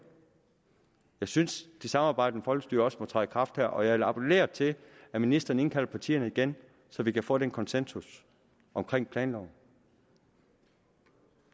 jeg synes det samarbejdende folkestyre også må træde i kraft her og jeg vil appellere til at ministeren indkalder partierne igen så vi kan få den konsensus omkring planloven